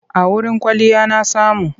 A wurin kwalliya na samu.